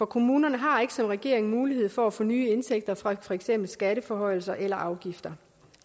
kommunerne har ikke som regeringen mulighed for at få nye indtægter fra for eksempel skatteforhøjelser eller afgifter